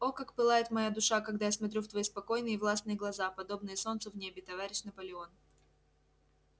о как пылает моя душа когда я смотрю в твои спокойные и властные глаза подобные солнцу в небе товарищ наполеон